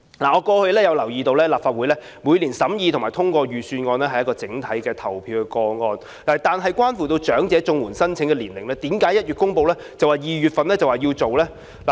我留意到過去立法會每年審議或通過財政預算案都是以一項整體投票進行，但對長者綜援申請年齡的修訂為甚麼在1月公布，然後便要在2月實行呢？